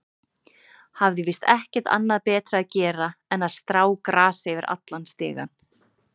Hafði víst ekkert annað betra að gera en að strá grasi yfir allan stigann.